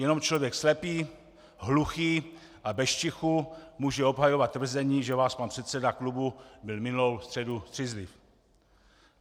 Jenom člověk slepý, hluchý a bez čichu může obhajovat tvrzení, že váš pan předseda klubu byl minulou středu střízliv.